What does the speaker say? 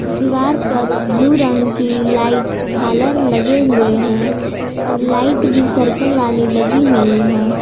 दीवार पर ब्लू रंग की लाइट झालर लगे हुए हैं और लाइट भी सर्कल वाली लगी हुई है।